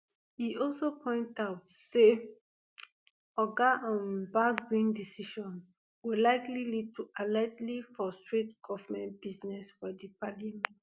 e also point out say oga um bagbin decision go likely lead to allegedly frustrate govment business for di parliament